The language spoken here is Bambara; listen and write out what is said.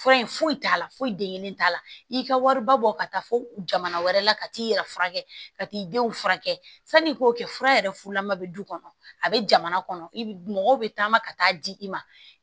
Fura in foyi t'a la foyi den kelen t'a la i ka wariba bɔ ka taa fo jamana wɛrɛ la ka t'i yɛrɛ furakɛ ka t'i denw furakɛ sanni i k'o kɛ fura yɛrɛ fulama bɛ du kɔnɔ a bɛ jamana kɔnɔ mɔgɔw bɛ taama ka taa di i ma